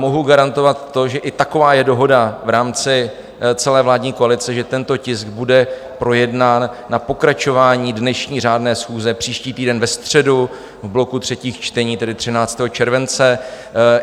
Mohu garantovat to, že i taková je dohoda v rámci celé vládní koalice, že tento tisk bude projednán na pokračování dnešní řádné schůze příští týden ve středu v bloku třetích čtení, tedy 13. července.